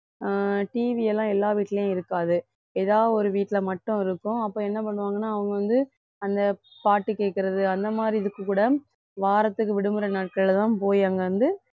அஹ் TV எல்லாம் எல்லா வீட்லயும் இருக்காது ஏதாவது ஒரு வீட்ல மட்டும் இருக்கும் அப்ப என்ன பண்ணுவாங்கன்னா அவங்க வந்து அந்த பாட்டு கேக்குறது அந்த மாதிரி இதுக்கு கூட வாரத்துக்கு விடுமுறை நாட்கள்ல தான் போய் அங்க வந்து